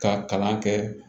Ka kalan kɛ